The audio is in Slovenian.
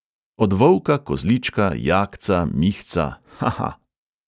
Od volka, kozlička, jakca, mihca... ha ha.